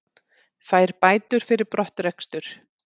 Fær bætur fyrir brottrekstur